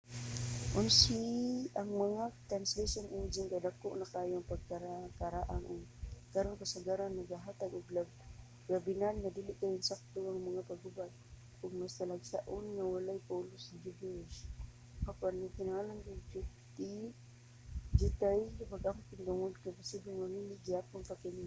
ang mga translation engine kay dako na kaayo ang pagkaraang-arang ug karon kasagaran nagahatag og labihan o dili kaayo insakto nga mga paghubad ug mas talagsaon nga walay pulos/gibberish apan gikanahanglan og diyutay nga pag-amping tungod kay posibleng mamali pa gihapon kini